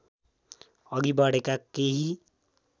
अघि बढेका केही